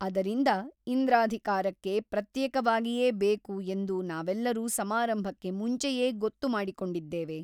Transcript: ಅದರಿಂದ ಇಂದ್ರಾಧಿಕಾರಕ್ಕೆ ಪ್ರತ್ಯೇಕವಾಗಿಯೇ ಬೇಕು ಎಂದು ನಾವೆಲ್ಲರೂ ಸಮಾರಂಭಕ್ಕೆ ಮುಂಚೆಯೇ ಗೊತ್ತು ಮಾಡಿಕೊಂಡಿದ್ದೇವೆ.